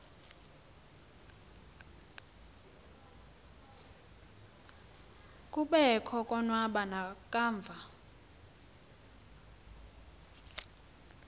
kobekho konwaba nakamva